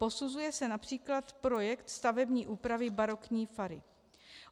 Posuzuje se například projekt stavební úpravy barokní fary.